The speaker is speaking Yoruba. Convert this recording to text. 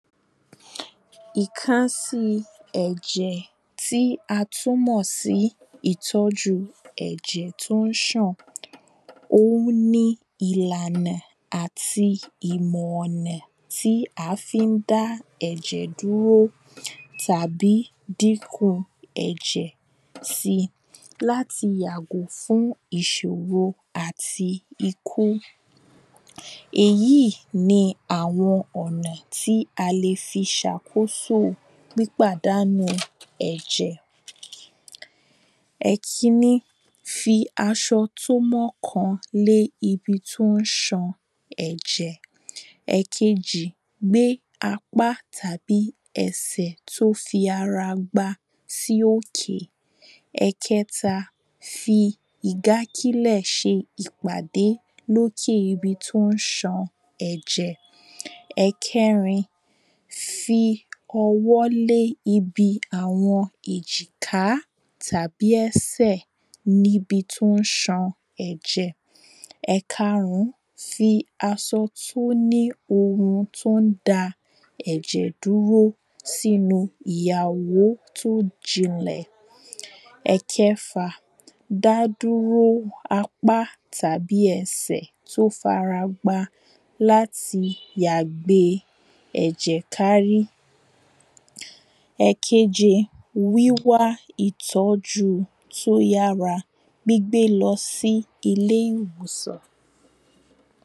Ìkánsíi ẹ̀jẹ̀ tí a tún mọ̀ sí ìtọ́jú ẹ̀jẹ̀ tí ó ń sàn. Òhun ni ìlànà àti ìmọ̀ ọ̀nà tí à fí ń dá ẹ̀jẹ̀ dúró Tàbí dínkù ẹ̀jẹ̀ si. Láti yàgò fún ìṣòro àti ikú. Èyí ni àwọn ọ̀nà tí a lè fi sàkóso pípadánù ẹ̀jẹ̀. Ẹ̀kínní, fi aṣọ tó mọ́ kan lé ibi tó ń san ẹ̀jẹ̀. Ẹ̀kejì, gbé apá tàbí ẹsẹ̀ tó fi ara gbá sí òkè. Ẹ̀kẹ́ta, fi ìgákilẹ̀ ṣe ìpàdé lókè ibi tó ń san ẹ̀jẹ̀. Ẹ̀kẹ́rin, fi ọwọ́ lé ibi àwọn èjìká tàbí ẹsẹ̀ níbi tó ń san ẹ̀jẹ̀. Ẹ̀karún, fi asọ tó ní ohun tó ń da ẹ̀jẹ̀ dúró sínú ìyàwó tó jinlẹ̀. Ẹ̀kẹfà, dádúró apá tàbí ẹsẹ̀ tó farapa láti yà gbe ẹ̀jẹ̀ kárí, Èkeje, wíwá ìtọ́jú tó yára gbígbé lọ sí ilé ìwòsàn.